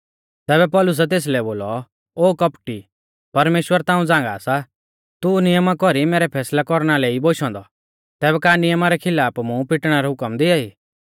तैबै पौलुसै तेसलै बोलौ ओ कौपटी परमेश्‍वर ताऊं झ़ांगा सा तू नियमा कौरी मैरै फैसलै कौरना लै ई बोशौ औन्दौ तैबै का नियमा रै खिलाफ मुं पिटणै रौ हुकम दिआई